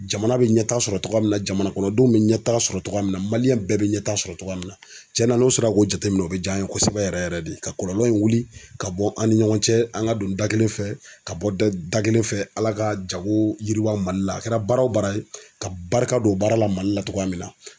Jamana be ɲɛtaga sɔrɔ togoya min na jamana kɔnɔdenw be ɲɛtaga sɔrɔ togoya min na maliyɛn bɛɛ be ɲɛta sɔrɔ togoya min na cɛna n'o sera k'o jateminɛ o be j' an ye kosɛbɛ yɛrɛ yɛrɛ de ka kɔlɔlɔ in wuli ka bɔ an ni ɲɔgɔn cɛ an ka don da kelen fɛ ka bɔ da da kelen fɛ ala ka jago yiriwa mali la a kɛra baara o baara ye ka barika don baara la mali la togoya min na